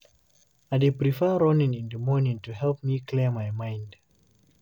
I dey prefer running in the morning to help me clear my mind.